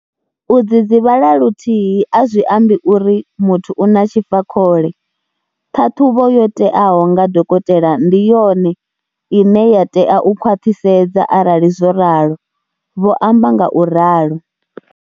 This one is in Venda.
U dzidzivhala luthihi a zwi ambi uri muthu u na tshifakhole. Ṱhaṱhuvho yo teaho nga dokotela ndi yone ine ya tea u khwaṱhisedza arali zwo ralo, vho amba ngauralo.